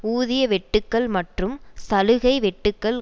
ஊதிய வெட்டுக்கள் மற்றும் சலுகை வெட்டுக்கள்